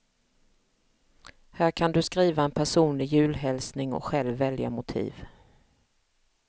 Här kan du skriva en personlig julhälsning och själv välja motiv.